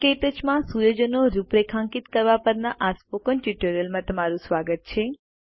ક્ટચ માં સુયોજનો રૂપરેખાંકિત કરવા પરના સ્પોકન ટ્યુટોરીયલમાં તમારું સ્વાગત છે